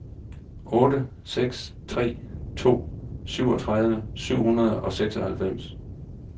otte seks tre to syvogtredive syv hundrede og seksoghalvfems